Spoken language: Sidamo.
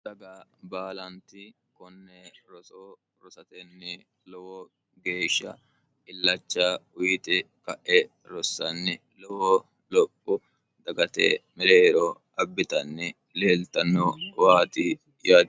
daga baalanti konne rosoo rosatenni lowo geeshsha illacha uyiti ka'e rossanni lowo lophu dagate mileero abbitanni leeltanno waati yaati